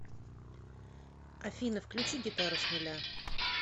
афина включи гитару с нуля